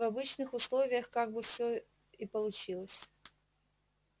в обычных условиях так бы всё и получилось